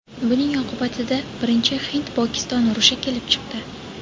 Buning oqibatida birinchi hind-pokiston urushi kelib chiqdi.